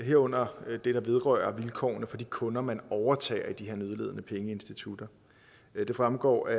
herunder det der vedrører vilkårene for de kunder man overtager i de her nødlidende pengeinstitutter det fremgår af